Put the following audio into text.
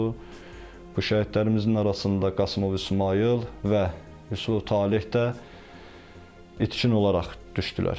Bu şəhidlərimizin arasında Qasımov İsmayıl və Yusub Taleh də itkin olaraq düşdülər.